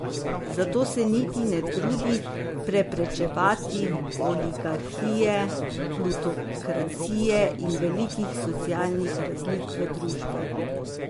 Zato se niti ne trudi preprečevati oligarhije, plutokracije in velikih socialnih razlik v družbi.